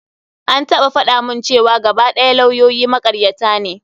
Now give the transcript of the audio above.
An taɓa faɗa mun cewa gaba ɗaya lawyoyi makaryata ne.